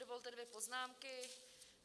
Dovolte dvě poznámky.